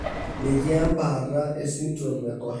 Metii embaata esindirom eCohen.